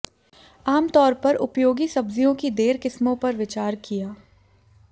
आम तौर पर उपयोगी सब्जियों की देर किस्मों पर विचार किया